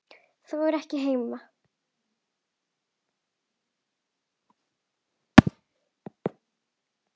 Þó ekki hér heima.